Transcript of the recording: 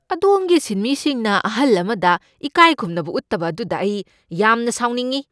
ꯑꯗꯣꯝꯒꯤ ꯁꯤꯟꯃꯤꯁꯤꯡꯅ ꯑꯍꯜ ꯑꯃꯗ ꯏꯀꯥꯏꯈꯨꯝꯅꯕ ꯎꯠꯇꯕ ꯑꯗꯨꯗ ꯑꯩ ꯌꯥꯝꯅ ꯁꯥꯎꯅꯤꯡꯢ꯫